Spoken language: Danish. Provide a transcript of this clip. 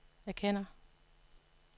erkender